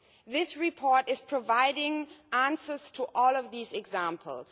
This report provides answers to all of these examples.